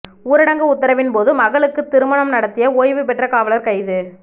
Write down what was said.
ஊரடங்கு உத்தரவின்போது மகளுக்கு திருமணம் நடத்திய ஓய்வு பெற்ற காவலர் கைது